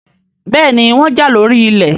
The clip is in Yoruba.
béèni wón já lórí ilé